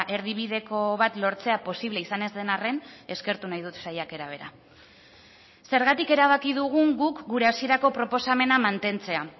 erdibideko bat lortzea posible izan ez den arren eskertu nahi dut saiakera bera zergatik erabaki dugun guk gure hasierako proposamena mantentzea